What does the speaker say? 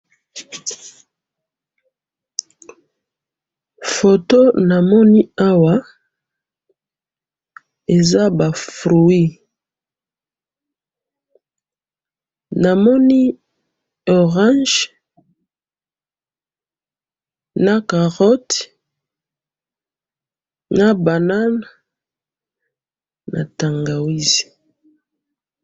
photo namoni awa eza ba fruit, namoni orange na carotte na banane na tangawisi.